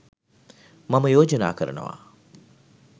මම යෝජනා කරනවා